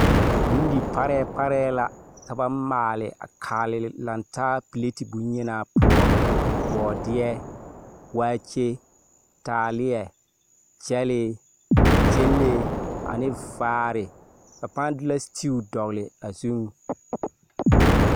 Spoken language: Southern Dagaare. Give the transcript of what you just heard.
Bondi parɛɛ parɛɛ la ka ba maale a kale lantaa pilati yenaa poɔ. Bɔɔdeɛ, waakye, taaleɛ, gyɛlee, gyɛnlee, ane vaare, ba pᾱᾱ de la setiu dɔgle a zuŋ.